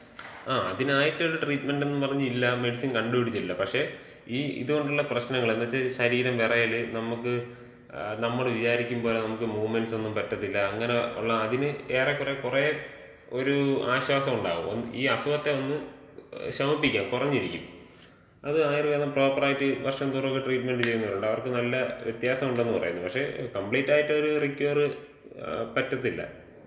അ, അതിനായിട്ട് ഒരു ട്രീറ്റ്മെന്‍റ് എന്ന് പറഞ്ഞില്ല, മെഡിസിൻ കണ്ടുപിടിച്ചില്ല. പക്ഷേ ഈ ഇത്കൊണ്ടുള്ള പ്രശ്നങ്ങള്, എന്ത്ച്ചാ ശരീരം വെറയല്, നമ്ക്ക്, നമ്മള് വിചാരിക്കും പോലെ നമ്ക്ക് മൂവ്മെന്‍റ്സ് ഒന്നും പറ്റത്തില്ല, അങ്ങനെ ഉള്ള അതിന് ഒരു ഏറെ കൊറെ ഒര് ആശ്വാസൊണ്ടാകും. ഈ അസുഖത്തെ ഒന്ന് ശമിപ്പിക്കാം, കുറഞ്ഞിരിക്കും. അത് ആയുർവേദം പ്രോപ്പറായിട്ട് വർഷം തോറൊക്കെ ട്രീറ്റ്മെന്‍റ് ചെയ്യുന്നവരുണ്ട്. അവർക്ക് നല്ല വ്യത്യാസം ഉണ്ടെന്ന് പറയുന്നു. പക്ഷേ കംപ്ലീറ്റ് ആയിട്ടൊരു റിക്കവറ് പറ്റത്തില്ല.